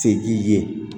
Se k'i ye